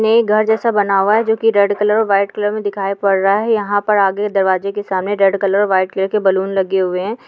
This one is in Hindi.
ने घर जैसा बना हुआ है जो कि रेड कलर और वाइट कलर में दिखाई पड़ रहा है | यहां पर आगे दरवाजे के सामने रेड कलर और वाइट कलर के बलून लगे हुए हैं |